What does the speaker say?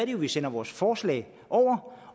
jo at vi sender vores forslag over